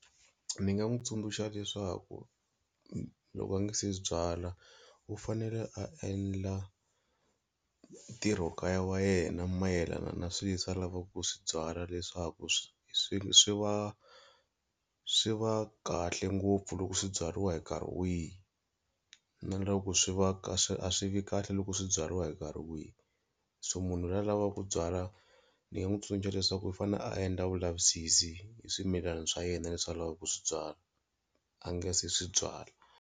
Ni nga n'wi tsundzuxa leswaku loko a nga se byala u fanele a endla ntirho kaya wa yena mayelana na swilo leswi a lavaka ku swi byala leswaku swi swi swi va swi va kahle ngopfu loko swi byariwa hi nkarhi wihi na loko swi va ka a swi a swi vi kahle loko swi byariwa hi nkarhi wihi, so munhu la a lavaka ku byala ni nga n'wi tsundzuxa leswaku i fanele a endla vulavisisi hi swimilana swa yena leswi a lavaka ku swi byala a nga se swi byala.